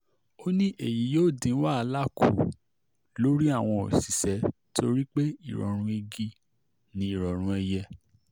ó ní èyí yóò dín wàhálà kù lọ́rùn àwọn òṣìṣẹ́ torí pé ìrọ̀rùn igi ni ìrọ̀rùn ẹ̀yẹ